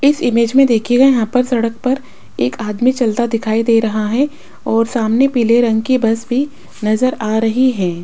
इस इमेज में देखे गए यहां पर सड़क पर एक आदमी चलता दिखाई दे रहा है और सामने पीले रंग की बस भी नजर आ रही हैं।